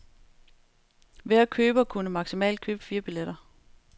Hver køber kunne maksimalt købe fire billetter.